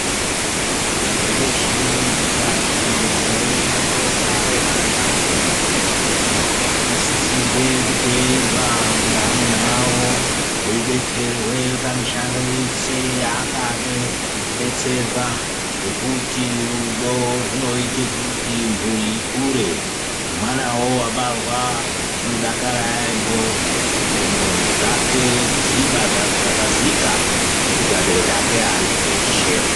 Anhu eshe echikadzi anoende koobare vana anosisirwe kuteerwa ngeamuna awo eidetserwe pamishando yese yaangade kudetserwa ngekuti rudo rwunoite kuti mhuri akure, nemwanawo wabarwa unodakara yaampho nendxondo dzake dzechibva dzaxakazika ngekuti abereki ake ya aripo eshe.